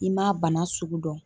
I m'a bana sugu dɔn